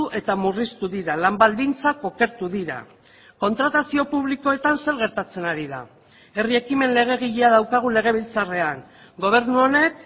eta murriztu dira lan baldintzak okertu dira kontratazio publikoetan zer gertatzen ari da herri ekimen legegilea daukagu legebiltzarrean gobernu honek